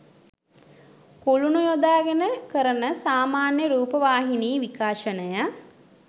කුළුණු යොදාගෙන කරන සාමාන්‍ය රූපවාහිනී විකාශනය